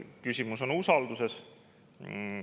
Küsimus on usalduses.